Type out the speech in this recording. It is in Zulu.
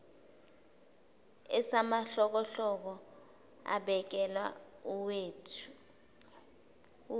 esamahlokohloko ebekela uweta